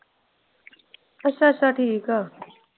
ਅੱਛਾ ਅੱਛਾ ਠੀਕ ਆ।